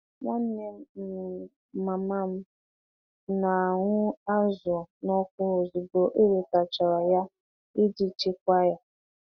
Nwanne um mama m na-ahu azụ n'ọku ozugbo e wetachara ya iji chekwaa ya.